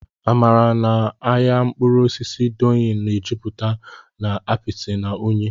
Amara na ahịa mkpụrụ osisi Doyin na-ejupụta na apịtị na unyi.